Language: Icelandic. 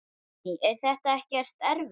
Guðný: Er þetta ekkert erfitt?